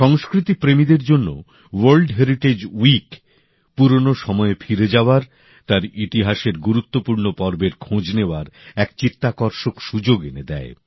সংস্কৃতি প্রেমীদের জন্য ওয়ার্ল্ড হেরিটেজ উইক পুরনো সময়ে ফিরে যাওয়ার তার ইতিহাসের গুরুত্বপূর্ণ পর্বের খোঁজ নেওয়ার এক চিত্তাকর্ষক সুযোগ এনে দেয়